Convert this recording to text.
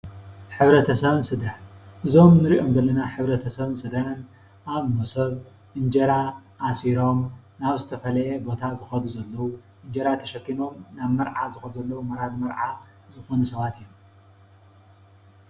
ሕብረተሰብን ስድራን፦ እዚኦም እንሪኦም ዘለና ሕብረተሰብን ስድራን ኣብ መሶብ እንጀራ ኣሲሮም ናብ ዝተፈለየ ቦታ ዝኸዱ ዘለው እንጀራ ተሸኪሞም ናብ መርዓ ዝኸዱ ዘለው ወራድ መርዓ ዝኾኑ ሰባት እዮም።